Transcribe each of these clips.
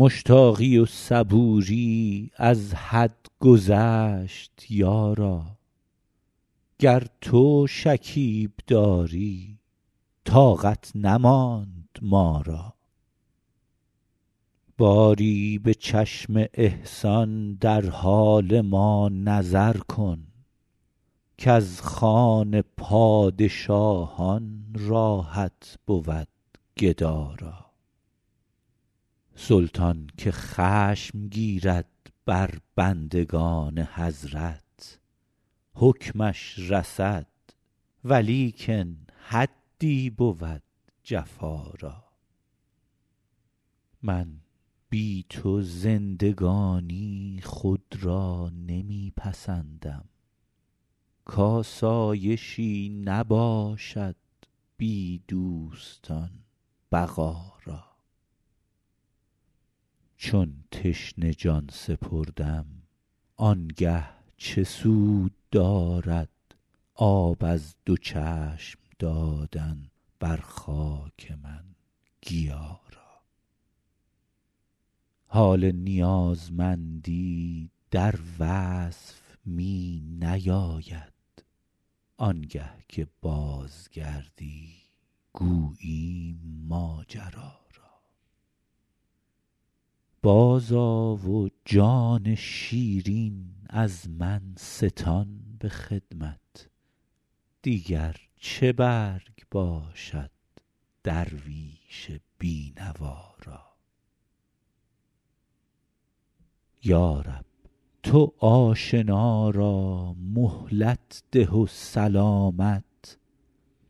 مشتاقی و صبوری از حد گذشت یارا گر تو شکیب داری طاقت نماند ما را باری به چشم احسان در حال ما نظر کن کز خوان پادشاهان راحت بود گدا را سلطان که خشم گیرد بر بندگان حضرت حکمش رسد ولیکن حدی بود جفا را من بی تو زندگانی خود را نمی پسندم کآسایشی نباشد بی دوستان بقا را چون تشنه جان سپردم آن گه چه سود دارد آب از دو چشم دادن بر خاک من گیا را حال نیازمندی در وصف می نیاید آن گه که بازگردی گوییم ماجرا را بازآ و جان شیرین از من ستان به خدمت دیگر چه برگ باشد درویش بی نوا را یا رب تو آشنا را مهلت ده و سلامت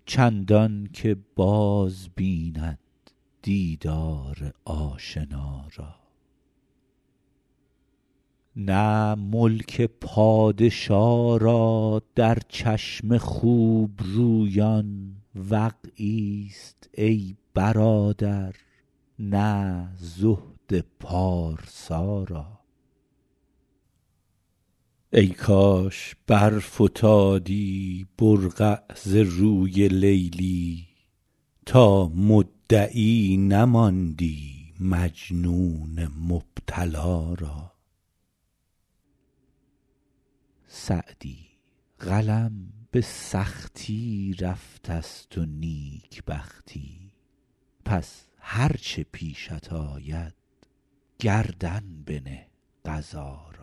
چندان که باز بیند دیدار آشنا را نه ملک پادشا را در چشم خوب رویان وقعی ست ای برادر نه زهد پارسا را ای کاش برفتادی برقع ز روی لیلی تا مدعی نماندی مجنون مبتلا را سعدی قلم به سختی رفته ست و نیک بختی پس هر چه پیشت آید گردن بنه قضا را